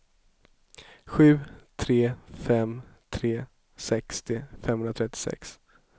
sju tre fem tre sextio femhundratrettiosex